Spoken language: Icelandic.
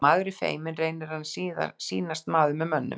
Þegar maður er feiminn reynir maður að sýnast maður með mönnum.